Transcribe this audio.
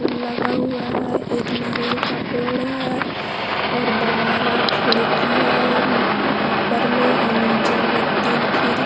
फूल लगा हुआ है एक नारियल का पेड़ है और बारा खिड़की है उ ऊपर में और नीचे में तीन खीर --